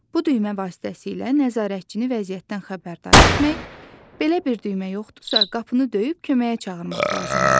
Bu düymə vasitəsilə nəzarətçini vəziyyətdən xəbərdar etmək, belə bir düymə yoxdursa, qapını döyüb köməyə çağırmaq lazımdır.